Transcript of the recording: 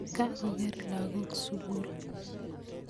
kakoker lakok sukul